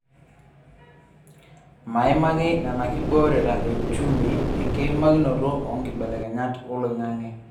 Maimaki nena kiboorta e uchumi enkiimakinoto oo nkibelekenyat oloing'ang'e.